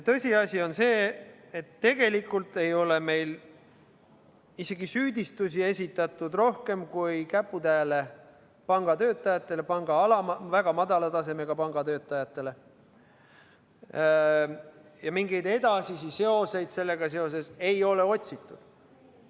Tõsiasi on ka see, et tegelikult ei ole meil isegi süüdistusi esitatud rohkem kui käputäiele pangatöötajatele, väga madala taseme pangatöötajatele, ja mingeid edasisi seoseid ei ole otsitud.